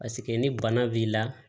Paseke ni bana b'i la